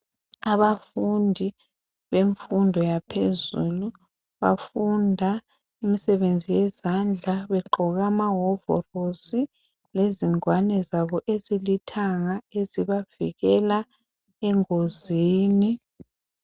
Abafundi bemfundo yaphezulu bafunda imsebenzi yezandla begqoke amahovorosi lezingwane zabo ezilithanga ezibavikela engozini.